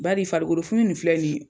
Baari farikolo funu nin filɛ nin.